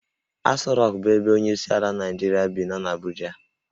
Asọ Rokụ bụ ebe onyeisiala Naijiria bi nọ n'Abuja